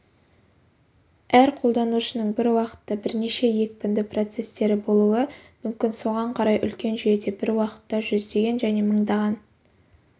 әр қолданушының бір уақытта бірнеше екпінді процестері болуы мүмкін соған қарай үлкен жүйеде бір уақытта жүздеген және мыңдаған